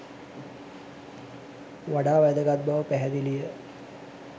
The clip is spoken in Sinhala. වඩා වැදගත් බව පැහැදිලි ය.